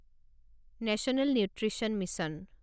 national nutrition mission